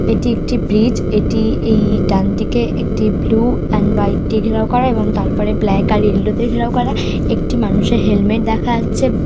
এটি একটি ব্রিজ এটি-ই এই ডান দিকে একটি ব্লু এন্ড হোয়াইট দিয়ে ঘেরাও করা এবং তারপরে ব্ল্যাক অ্যান্ড ঈয়োলো দিয়ে ঘেরাও করা একটি মানুষের হেলমেট দেখা যাচ্ছে।